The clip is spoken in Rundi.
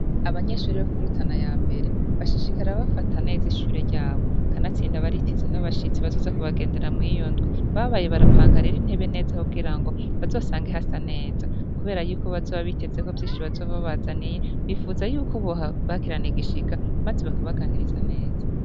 Abanyeshuri bo kuri Rutana ya mbere bashishikara bafata neza ishure ryabo kanatsinda bariteze n'abashitsi bazoza ku bagendera mw'iyo ndwi babaye barapanga rero intebe neza kugira ngo bazosange hasa neza kubera yuko bazoba bitezeko vyinshi bazoba babazaniye, bipfuza yuko bobakirana igishika maze bakabaganiriza neza.